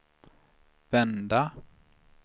vända